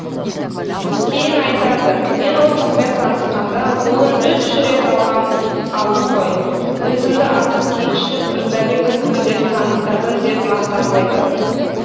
кейін айтады мен ол қызбен танысқанда қолын үш рет алғам алдым ғой өзімді ақын кеңшілік мырзабековпін деп таныстырдым деп мақтанып айтатын